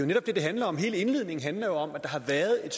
netop det det handler om hele indledningen handler om at der har været et